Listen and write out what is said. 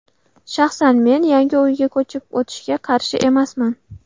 Shaxsan men yangi uyga ko‘chib o‘tishga qarshi emasman.